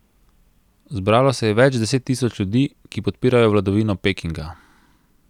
Zbralo se je več deset tisoč ljudi, ki podpirajo vladavino Pekinga.